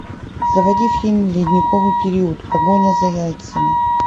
заводи фильм ледниковый период погоня за яйцами